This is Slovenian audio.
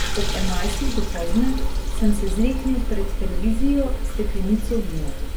Ob enajstih dopoldne sem se zleknil pred televizijo s steklenico vina.